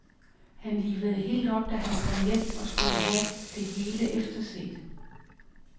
Han livede helt op, da han kom hjem og skulle have det hele efterset.